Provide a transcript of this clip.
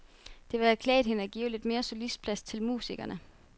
Det ville have klædt hende at give lidt mere solistplads til musikerne.